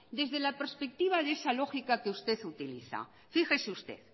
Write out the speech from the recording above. desde la perspectiva de esa lógica que usted utiliza fíjese que